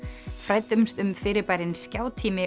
fræddumst um fyrirbærin